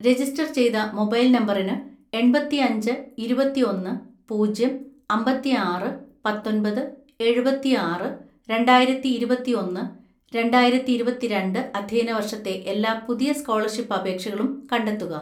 "register ചെയ്ത mobile നമ്പറിന് എണ്‍പത്തിഅഞ്ച് ഇരുപത്തിഒന്ന് പൂജ്യം അമ്പത്തിആറ് പത്തൊന്‍പത് എഴുപത്തിആറ്, രണ്ടായിരത്തിഇരുപത്തിഒന്ന് രണ്ടായിരത്തിഇരുപത്തിരണ്ട്‍ അധ്യയന വർഷത്തെ എല്ലാ പുതിയ സ്കോളർഷിപ്പ് അപേക്ഷകളും കണ്ടെത്തുക"